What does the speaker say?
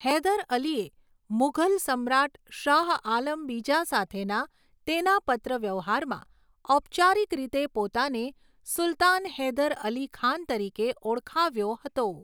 હૈદર અલીએ મુઘલ સમ્રાટ શાહઆલમ બીજા સાથેના તેના પત્રવ્યવહારમાં ઔપચારિક રીતે પોતાને સુલતાન હૈદર અલી ખાન તરીકે ઓળખાવ્યો હતો.